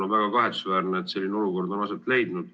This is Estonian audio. On väga kahetsusväärne, et selline olukord on aset leidnud.